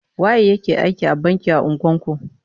Waye ya ke aiki a banki a unguwar ku?